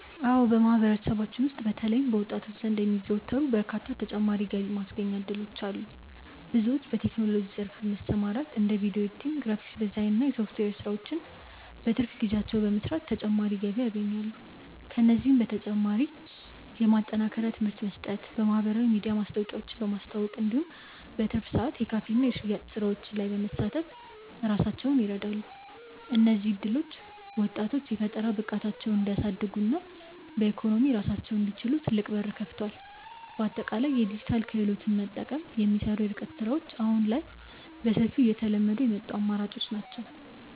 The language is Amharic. አዎ በማህበረሰባችን ውስጥ በተለይም በወጣቶች ዘንድ የሚዘወተሩ በርካታ ተጨማሪ የገቢ ማስገኛ እድሎች አሉ። ብዙዎች በቴክኖሎጂው ዘርፍ በመሰማራት እንደ ቪዲዮ ኤዲቲንግ፣ ግራፊክስ ዲዛይን እና የሶፍትዌር ስራዎችን በትርፍ ጊዜያቸው በመስራት ተጨማሪ ገቢ ያገኛሉ። ከእነዚህም በተጨማሪ የማጠናከሪያ ትምህርት በመስጠት፣ በማህበራዊ ሚዲያ ማስታወቂያዎችን በማስተዋወቅ እንዲሁም በትርፍ ሰዓት የካፌና የሽያጭ ስራዎች ላይ በመሳተፍ ራሳቸውን ይረዳሉ። እነዚህ እድሎች ወጣቶች የፈጠራ ብቃታቸውን እንዲያሳድጉና በኢኮኖሚ ራሳቸውን እንዲችሉ ትልቅ በር ከፍተዋል። በአጠቃላይ የዲጂታል ክህሎትን በመጠቀም የሚሰሩ የርቀት ስራዎች አሁን ላይ በሰፊው እየተለመዱ የመጡ አማራጮች ናቸው።